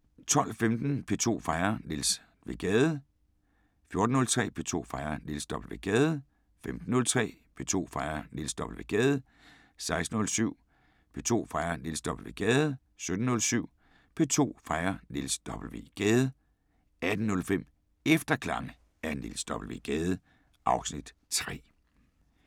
12:15: P2 fejrer Niels W. Gade 14:03: P2 fejrer Niels W. Gade 15:03: P2 fejrer Niels W. Gade 16:07: P2 fejrer Niels W. Gade 17:07: P2 fejrer Niels W. Gade 18:05: Efterklange af Niels W. Gade (Afs. 3)